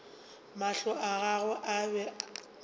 mahlo a gagwe a be